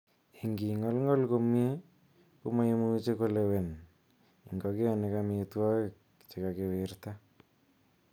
Ingingolngol komie, komoimuche kolewen ingogenik amitwogik che kakiwirta.